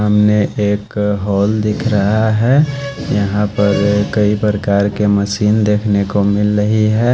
हमें एक हॉल दिख रहा है। यहां पर कई प्रकार के मशीन देखने को मिल रही हैं।